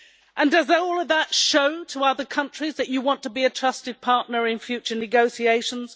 And does all of that show to other countries that you want to be a trusted partner in future negotiations?